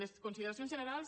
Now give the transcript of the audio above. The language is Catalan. les consideracions generals